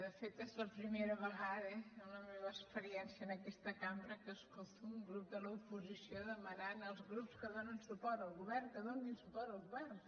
de fet és la primera ve·gada en la meva experiència en aquesta cambra que es·colto un grup de l’oposició demanant als grups que donen suport al govern que donin suport al govern